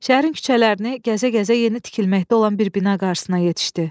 Şəhərin küçələrini gəzə-gəzə yeni tikilməkdə olan bir bina qarşısına yetişdi.